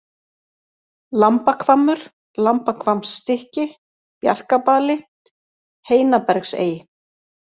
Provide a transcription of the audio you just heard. Lambahvammur, Lambahvammsstykki, Bjarkabali, Heinabergsey